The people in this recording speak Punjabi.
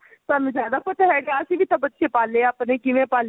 ਤੁਹਾਨੂੰ ਜਿਆਦਾ ਪਤਾ ਹੈਗਾ ਅਸੀਂ ਵੀ ਤਾਂ ਬੱਚੇ ਪਾਲੇ ਏ ਆਪਣੇ ਕਿਵੇਂ ਪਾਲੇ ਏ